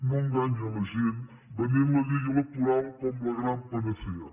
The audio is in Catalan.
no enganyi la gent venent la llei electoral com la gran panacea